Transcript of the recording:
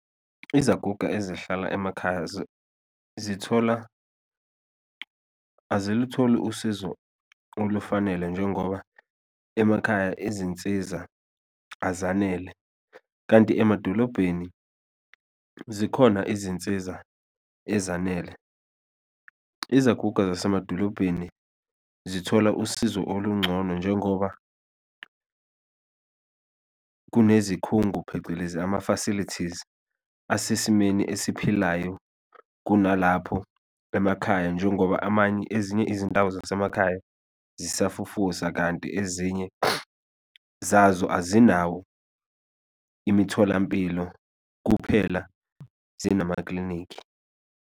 Izaguga ezihlala emakhaya zithola azilutholi usizo olufanele njengoba emakhaya izinsiza azanele kanti emadolobheni zikhona izinsiza ezanele, izaguga zasemadolobheni zithola usizo oluncono njengoba kunezikhungo, phecelezi ama-facilities asesimeni esiphilayo kunalapho emakhaya. Njengoba amanye ezinye izindawo zasemakhaya zisafufusa kanti ezinye zazo azinawo imitholampilo kuphela zinamaklinikhi.